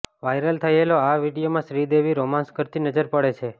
viral થયેલો આ વીડીઓમાં શ્રીદેવી રોમાંસ કરતી નજર પડે છે